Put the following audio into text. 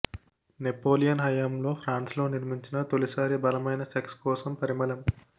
Napoleon హయాంలో France లో నిర్మించిన తొలి సారి బలమైన సెక్స్ కోసం పరిమళం